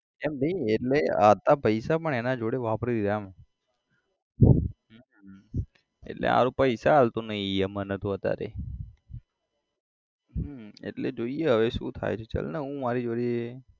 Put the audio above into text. એમ નઈ એટલે આટલા પૈસા પણ એના જોડે વાપરી દીધા એમ હમ એટલે હાલ પૈસા આલતો નઈ એ મન તો અત્યારે હમ એટલે જોઈએ હવે શુ થાય છે ચલને હું મારી જોડે